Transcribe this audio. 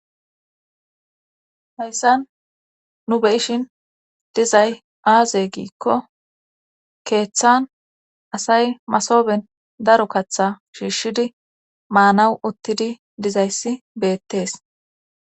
heyssan nu be ishin dizay aaze giikko keeththan asay masoben daro katha shiishshidi maanawu uttidi dizayssi beettees